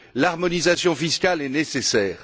L'harmonisation fiscale est nécessaire.